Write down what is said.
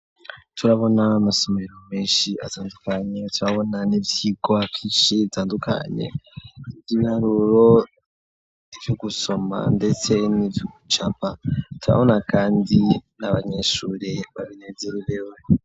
Turabona amasomero menshi atandukanye turabona n'ivyigwa vyinshi bitandukanye vy'ibiharuro, ivyo gusoma ndetse nivy’ugucapa turabona kandi n'abanyeshure babinezererewe.